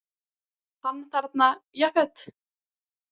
Hann þarna Jafet.